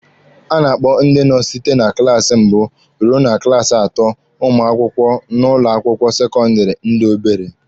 A na-akpọ ndị nọ site na klaasi mbụ ruo na klaasi atọ ụmụ akwụkwọ n'ụlọ akwụkwọ sekọndịrị ndị obere.